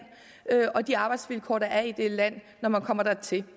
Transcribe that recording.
og de arbejdsvilkår der er i det land når man kommer dertil